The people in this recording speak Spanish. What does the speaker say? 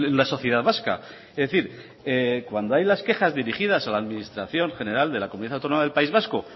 la sociedad vasca es decir cuando hay las quejas dirigidas a la administración general de la comunidad autónoma del país vasco